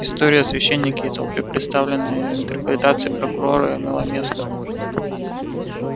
история о священнике и толпе представленная в интерпретации прокурора имела место